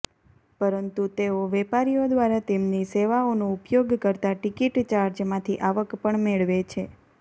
પરંતુ તેઓ વેપારીઓ દ્વારા તેમની સેવાઓનો ઉપયોગ કરતા ટિકિટ ચાર્જમાંથી આવક પણ મેળવે છે